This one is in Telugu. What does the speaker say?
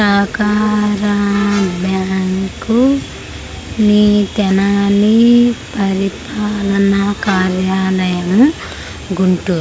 సహకార బ్యాంక్ నీ తెనాలి పరిపాలన కార్యాలయము గుంటూరు .